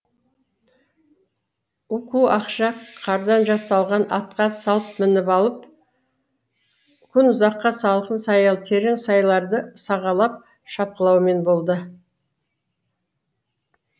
уку ақша қардан жасалған атқа салт мініп алып күн ұзаққа салқын саялы терең сайларды сағалап шапқылаумен болды